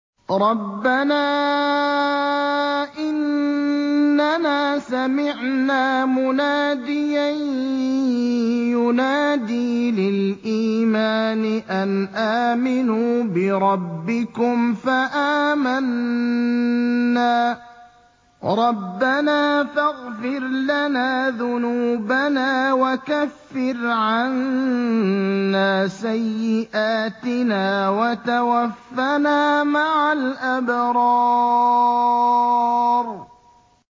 رَّبَّنَا إِنَّنَا سَمِعْنَا مُنَادِيًا يُنَادِي لِلْإِيمَانِ أَنْ آمِنُوا بِرَبِّكُمْ فَآمَنَّا ۚ رَبَّنَا فَاغْفِرْ لَنَا ذُنُوبَنَا وَكَفِّرْ عَنَّا سَيِّئَاتِنَا وَتَوَفَّنَا مَعَ الْأَبْرَارِ